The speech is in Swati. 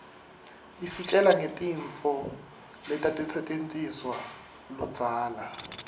isitjela ngetintfu letatisetjentiswaluudzala